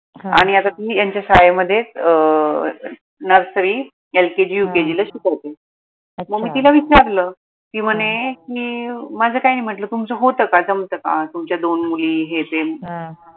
आणि आता ती यांच्या शाळेमध्येच nurserylkgukg ला शिकवते अच्छा मग मी तिला विचारलं ती म्हणे माझं काही नाही म्हटलं तुमचं होत का जमत का तुमच्या दोन मुली हे ते हं